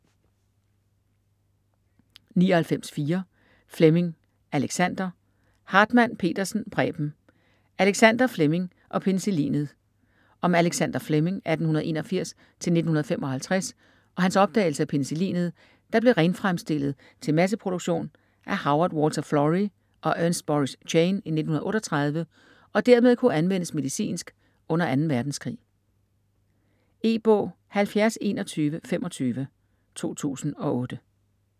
99.4 Fleming, Alexander Hartmann-Petersen, Preben: Alexander Fleming og penicillinet Om Alexander Fleming (1881-1955) og hans opdagelse af penicillinet, der blev renfremstillet til masseproduktion af Howard Walter Florey og Ernst Boris Chain i 1938, og dermed kunne anvendes medicinsk under 2. verdenskrig. E-bog 707125 2008.